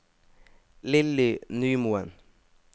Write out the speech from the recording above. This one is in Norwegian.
Lilly Nymoen